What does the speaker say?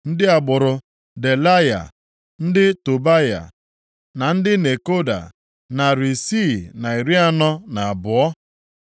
Ndị agbụrụ: Delaya, ndị Tobaya na ndị Nekoda, narị isii na iri anọ na abụọ (642).